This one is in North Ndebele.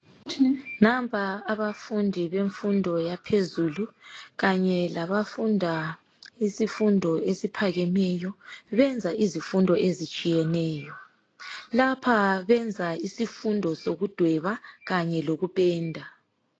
Nampa abafundi bemfundo yaphezulu kanye labafunda isifundo esiphakemeyo, benza izifundo etshiyeneyo. Lapha benza isifundo sokudweba kanye lokupenda.